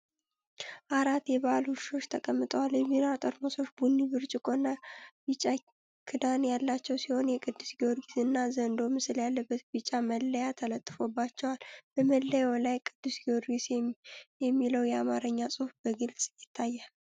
አራት የበአልት ውሾች ተቀምጠዋል። የቢራ ጠርሙሶች ቡኒ ብርጭቆና ቢጫ ክዳን ያላቸው ሲሆን፣ የቅዱስ ጊዮርጊስና ዘንዶ ምስል ያለበት ቢጫ መለያ ተለጥፎባቸዋል። በመለያው ላይ "ቅዱስ ጊዮርጊስ" የሚለው የአማርኛ ጽሑፍ በግልጽ ይታያል።